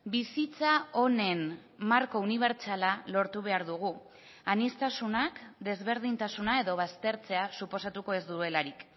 bizitza honen marko unibertsala lortu behar dugu aniztasunak desberdintasuna edo baztertzea suposatuko ez duelarik